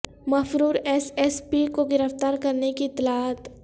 مفرور S S P کو گرفتار کرنے کی اطلاعات